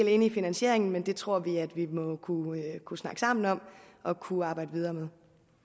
enige i finansieringen men det tror vi at vi må kunne snakke sammen om og kunne arbejde videre med